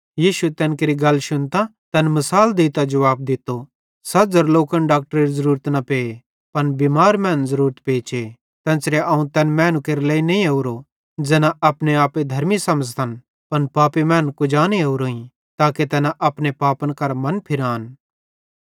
यीशुए तैन केरि गल शुन्तां तैन मिसाल देइतां जुवाब दित्तो सझ़र लोकन डाक्टरेरी ज़रूरत न पे पन बिमार मैनन् ज़रूरत पेचे तेन्च़रां अवं तैन मैनू केरे लेइ नईं ओरोईं ज़ैना अपने आपे धर्मी समझ़तन पन पापी मैनन् कुजाने ओरोईं ताके तैना अपने पापन केरां मनफिरान